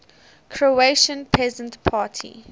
croatian peasant party